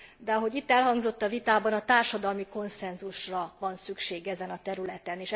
De ahogy itt elhangzott a vitában, társadalmi konszenzusra van szükség ezen a területen.